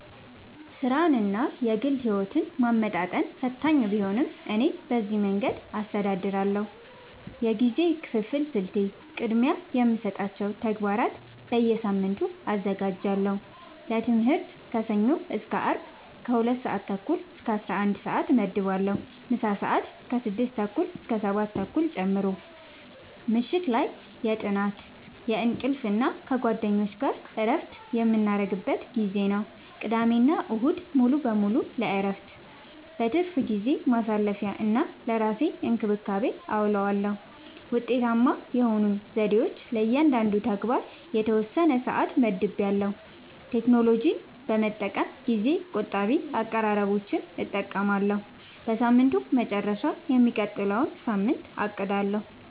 ሥራንና የግል ሕይወትን ማመጣጠን ፈታኝ ቢሆንም፣ እኔ በዚህ መንገድ አስተዳድራለሁ፦ የጊዜ ክፍፍል ስልቴ፦ · ቅድሚያ የሚሰጣቸውን ተግባራት በየሳምንቱ አዘጋጃለሁ · ለትምህርት ከሰኞ እስከ አርብ ከ 2:30-11:30 እመድባለሁ (ምሳ ሰአት 6:30-7:30 ጨምሮ) · ምሽት ላይ የጥናት፣ የእንቅልፍ እና ከጓደኞች ጋር እረፍት የምናደርግበት ጊዜ ነው። · ቅዳሜና እሁድ ሙሉ በሙሉ ለእረፍት፣ ለትርፍ ጊዜ ማሳለፊ፣ እና ለራስ እንክብካቤ አዉለዋለሁ። ውጤታማ የሆኑኝ ዘዴዎች፦ · ለእያንዳንዱ ተግባር የተወሰነ ሰዓት መድቤያለሁ · ቴክኖሎጂን በመጠቀም ጊዜ ቆጣቢ አቀራረቦችን እጠቀማለሁ · በሳምንቱ መጨረሻ የሚቀጥለውን ሳምንት አቅዳለሁ